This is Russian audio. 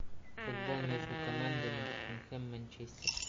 футбол между командами тоттенхэм манчестер